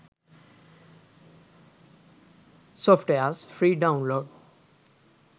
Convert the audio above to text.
softwares free download